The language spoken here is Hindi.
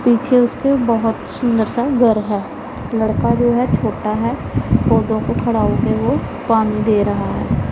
पीछे उसके बहुत सुंदर सा घर है लड़का जो है छोटा है पौधों को खड़ा हो के वो पानी दे रहा है।